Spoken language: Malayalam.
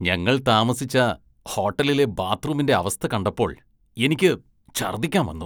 ഞങ്ങള്‍ താമസിച്ച ഹോട്ടലിലെ ബാത്ത്‌റൂമിന്റെ അവസ്ഥ കാണ്ടപ്പോള്‍ എനിക്ക് ഛര്‍ദ്ദിക്കാന്‍ വന്നു